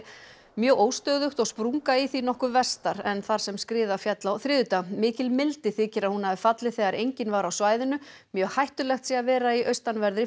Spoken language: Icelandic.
mjög óstöðugt og sprunga í því nokkuð vestar en þar sem skriða féll á þriðjudag mikil mildi þykir að hún hafi fallið þegar enginn var á svæðinu mjög hættulegt sé að vera í austanverðri